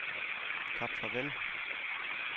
Kap Farvel